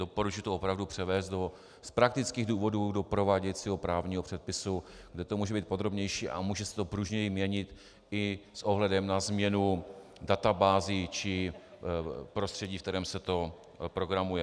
Doporučuji to opravdu převést z praktických důvodů do prováděcího právního předpisu, kde to může být podrobnější a může se to pružněji měnit i s ohledem na změnu databází či prostředí, ve kterém se to programuje.